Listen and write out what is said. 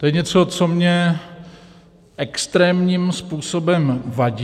To je něco, co mě extrémním způsobem vadí.